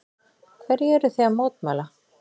Hverju eruð þið að mótmæla?